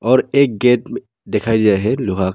और एक गेट दिखाई दिया है लोहा का।